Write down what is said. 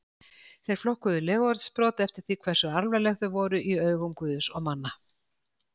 Þeir flokkuðu legorðsbrot eftir því hversu alvarleg þau voru í augum guðs og manna.